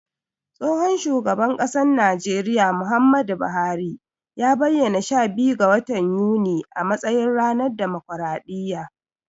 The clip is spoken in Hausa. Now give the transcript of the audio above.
Tsohon shugaban ƙasan najeriya, Muhammadu Buhari ya bayyana sha biyu ga watan yuni a matsayin ranar damokraɗiyya.